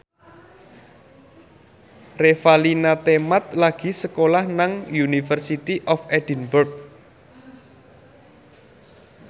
Revalina Temat lagi sekolah nang University of Edinburgh